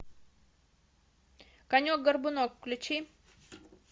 конек горбунок включи